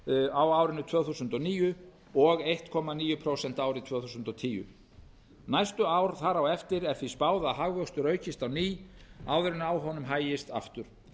á árinu tvö þúsund og níu og einn komma níu prósent árið tvö þúsund og tíu næstu ár þar á eftir er því spáð að hagvöxtur aukist á ný áður en á honum hægist aftur